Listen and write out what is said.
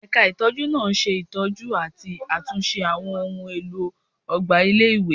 Ẹ̀ka ìtọ́jú náà ṣe ìtọ́jú àti àtúnṣe àwọn ohùn èlò ọgbà ilé-ìwé